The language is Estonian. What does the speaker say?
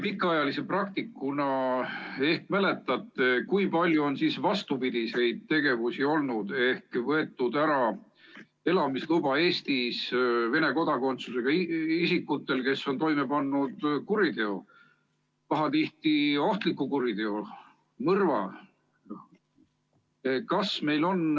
Pikaajalise praktikuna äkki mäletate, kui palju on olnud vastupidiseid tegevusi ehk võetud ära Eestis elamise luba Venemaa kodakondsusega isikutelt, kes on toime pannud kuriteo, pahatihti ohtliku kuriteo, mõrva?